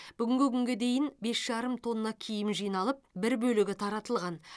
бүгінгі күнге дейін бес жарым тонна киім жиналып бір бөлігі таратылған